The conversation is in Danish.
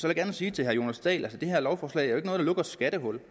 jeg gerne sige til herre jonas dahl at det her lovforslag er et der lukker et skattehul